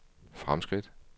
fremskridt